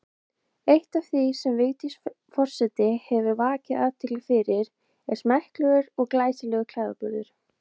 Eitt af því sem Vigdís forseti hefur vakið athygli fyrir er smekklegur og glæsilegur klæðaburður.